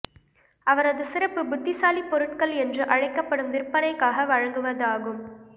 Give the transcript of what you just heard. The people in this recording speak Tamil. அவரது சிறப்பு புத்திசாலி பொருட்கள் என்று அழைக்கப்படும் விற்பனைக்காக வழங்குவதாகும்